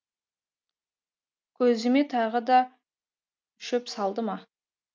көзіме тағы да шөп салды ма